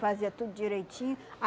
Fazia tudo direitinho.